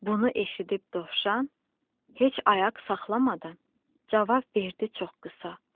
Bunu eşidib dovşan heç ayaq saxlamadan cavab verdi çox qısa.